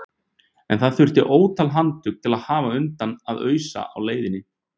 En það þurfti ótal handtök til að hafa undan að ausa á leiðinni.